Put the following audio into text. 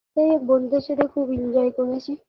এ বন্ধুদের সাথে খুব enjoy করেছি